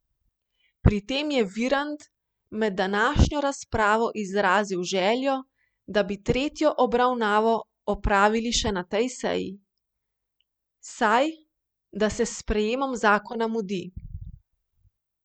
Pri tem je Virant med današnjo razpravo izrazil željo, da bi tretjo obravnavo opravili še na tej seji, saj da se s sprejemom zakona mudi.